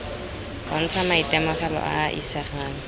bontsha maitemogelo a a isegang